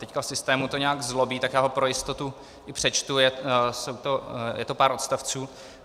Teď v systému to nějak zlobí, tak já ho pro jistotu i přečtu, je to pár odstavců.